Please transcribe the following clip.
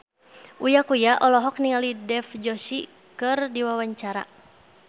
Uya Kuya olohok ningali Dev Joshi keur diwawancara